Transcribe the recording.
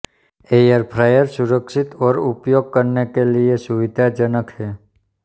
air fryer सुरक्षित और उपयोग करने के लिए सुविधाजनक हैं